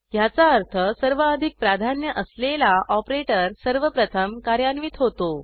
ह्याचा अर्थ सर्वाधिक प्राधान्य असलेला ऑपरेटर सर्वप्रथम कार्यान्वित होतो